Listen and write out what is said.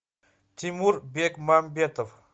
тимур бекмамбетов